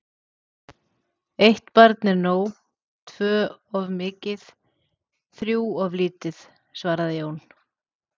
Eitt barn er nóg, tvö of mikið, þrjú börn of lítið, svaraði Jón.